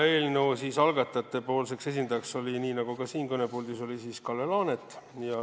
Eelnõu algatajate esindajaks oli siis, nii nagu on ka siin täna, Kalle Laanet.